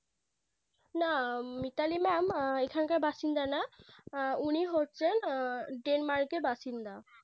না Mitali Mam এখানকার বাসিন্দা না উনি হচ্ছেন Denmark এর বাসিন্দা